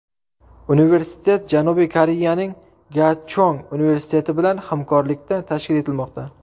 Universitet Janubiy Koreyaning Gachong universiteti bilan hamkorlikda tashkil etilmoqda.